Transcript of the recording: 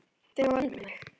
Þegar hún var ung, meina ég.